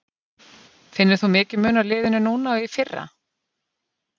Finnur þú mikinn mun á liðinu núna og í fyrra?